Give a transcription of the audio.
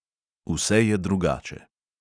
Vse je drugače.